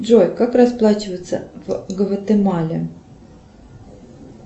джой как расплачиваться в гватемале